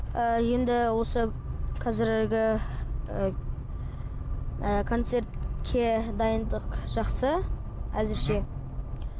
ыыы енді осы қазіргі ы концертке дайындық жақсы әзірше